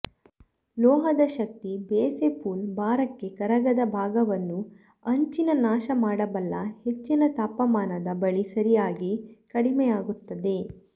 ಲೋಹದ ಶಕ್ತಿ ಬೆಸೆ ಪೂಲ್ ಭಾರಕ್ಕೆ ಕರಗದ ಭಾಗವನ್ನು ಅಂಚಿನ ನಾಶ ಮಾಡಬಲ್ಲ ಹೆಚ್ಚಿನ ತಾಪಮಾನದ ಬಳಿ ಸರಿಯಾಗಿ ಕಡಿಮೆಯಾಗುತ್ತದೆ